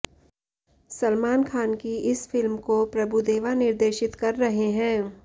सलमान खान की इस फिल्म को प्रभुदेवा निर्देशित कर रहे हैं